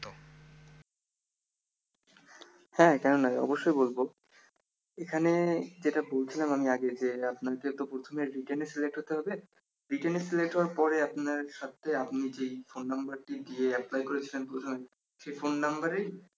হ্যা কেন নয় অবশ্যই বলব এখানে যেটা বলছিলাম আমি আগে যে আপনার যে একটা প্রথমে written select হইতে হবে written select হওয়ার পরে আপনার সাথে আপনি যে ফোন নাম্বারটি দিয়ে apply করেছিলেন প্রথমে সেই ফোন নাম্বারে